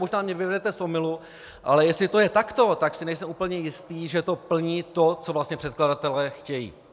Možná mě vyvedete z omylu, ale jestli to je takto, tak si nejsem úplně jist, že to plní to, co vlastně předkladatelé chtějí.